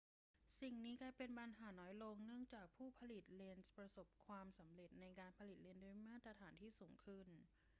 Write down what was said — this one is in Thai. สิ่งนี้กลายเป็นปัญหาน้อยลงเนื่องจากผู้ผลิตเลนส์ประสบความสำเร็จในการผลิตเลนส์ด้วยมาตรฐานที่สูงขึ้น